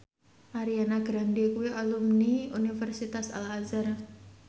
Ariana Grande kuwi alumni Universitas Al Azhar